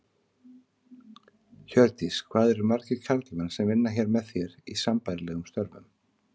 Hjördís: Hvað eru margir karlmenn sem vinna hér með þér, í sambærilegum störfum?